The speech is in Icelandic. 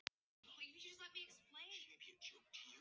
Það verður skrýtið þegar við fáum aftur að vera saman.